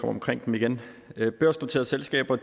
omkring dem igen børsnoterede selskaber